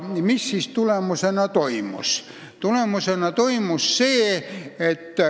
Mis selle tulemusena toimus?